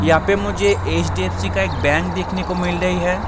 यहाँ पे मुझे एच.डी.एफ.सी. का एक बैंक देखने को मिल रही है ।